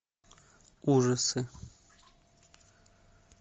ужасы